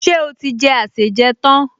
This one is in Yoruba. Ṣé ó ti jẹ àsèjẹ tán?